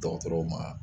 Dɔgɔtɔrɔw ma